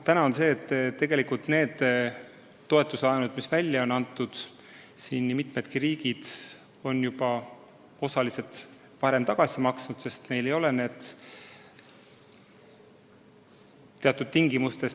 Samas on mitu riiki neile antud toetuslaenud osaliselt varem tagasi maksnud, sest nad peavad neid väga kalliks.